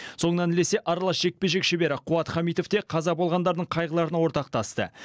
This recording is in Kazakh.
соңынан ілесе аралас жекпе жек шебері қуат хамитов те қаза болғандардың қайғыларына ортақтасты